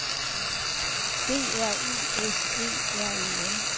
B R U S E R E N